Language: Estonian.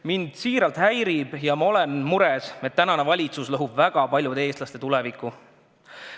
Mind siiralt häirib ja paneb muretsema, et tänane valitsus lõhub väga paljude eestlaste tuleviku.